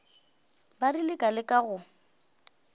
ba rile ka leka go